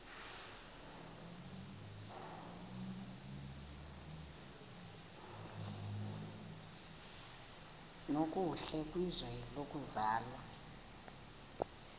nokuhle kwizwe lokuzalwa